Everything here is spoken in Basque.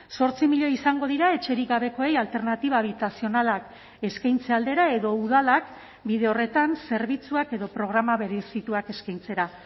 zortzi milioi izango dira etxerik gabekoei alternatiba habitazionalak eskaintze aldera edo udalak bide horretan zerbitzuak edo programa berezituak eskaintzera